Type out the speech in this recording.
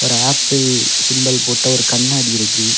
Apple symbol போட்ட ஒரு கண்ணாடி இருக்கு.